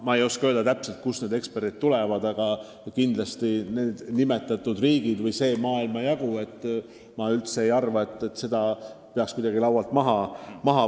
Ma ei oska praegu kohe öelda, kust need eksperdid tulevad, aga kindlasti ei peaks teie nimetatud riike või seda maailmajagu välistama.